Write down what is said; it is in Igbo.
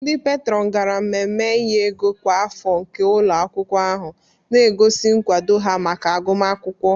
Ndị peetron gara mmemme inye ego kwa afọ nke ụlọ akwụkwọ ahụ, na-egosi nkwado ha maka agụmakwụkwọ.